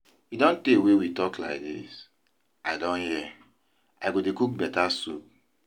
E don tey wey we talk like dis, I don hear, I go dey cook better soup.